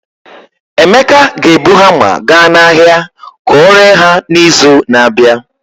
Emeka ga-ebu hamma gaa n'ahịa ka ọ ree ha n'izu na-abịa.